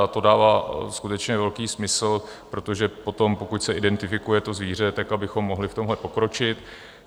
A to dává skutečně velký smysl, protože potom, pokud se identifikuje to zvíře, tak abychom mohli v tomhle pokročit.